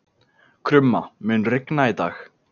Krumma, mun rigna í dag?